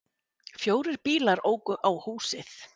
Fjórir bílar óku á húsið